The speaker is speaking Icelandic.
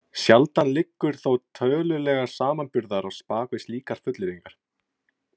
Sjaldan liggur þó tölulegur samanburður á bak við slíkar fullyrðingar.